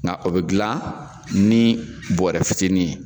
Nga o be gilan ni bɔrɛ fitinin ye